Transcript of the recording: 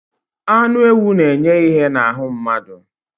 Anụ ewụ na - enye ìhè na ahụ mmadụ.